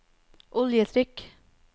oljetrykk